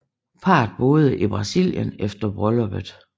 Parret boede i Brasilien efter brylluppet